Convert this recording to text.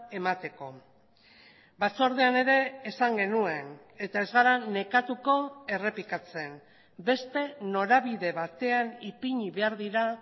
emateko batzordean ere esan genuen eta ez gara nekatuko errepikatzen beste norabide batean ipini behar dira